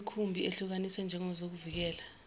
imikhumbi ehlukaniswe njengezokuvikela